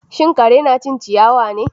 Shin kare yana cin ciyawa ne?